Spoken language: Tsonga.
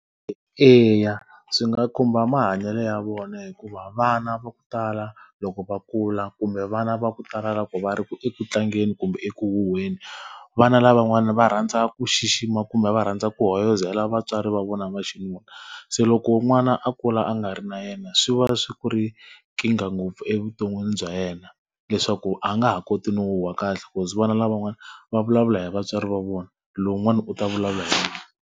Eya swi nga khumba mahanyelo ya vona hikuva vana va ku tala loko va kula kumbe vana va ku tala ku va ri ekutlangeni kumbe eku huhweni, vana lavan'wana va rhandza ku xixima kumbe va rhandza ku hoyozela vatswari va vona va xinuna. Se loko n'wana a kula a nga ri na yena swi va swi ku ri nkingha ngopfu evuton'wini bya yena, leswaku a nga ha koti no huhwa kahle vana lavan'wana va vulavula hi vatswari va vona. Lowun'wana u ta vulavula hi .